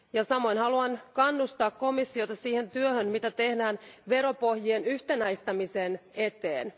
Samoin haluan kannustaa komissiota siihen työhön, mitä tehdään veropohjien yhtenäistämisen eteen.